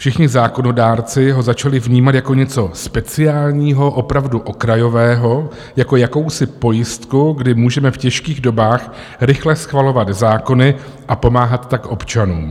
Všichni zákonodárci ho začali vnímat jako něco speciálního, opravdu okrajového, jako jakousi pojistku, kdy můžeme v těžkých dobách rychle schvalovat zákony a pomáhat tak občanům.